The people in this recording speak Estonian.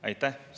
Aitäh!